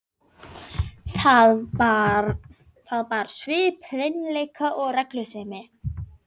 Það bar svip hreinleika og reglusemi.